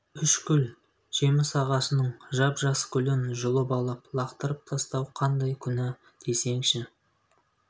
үш гүл жеміс ағашының жап-жас гүлін жұлып алып лақтырып тастау қандай күнә десеңші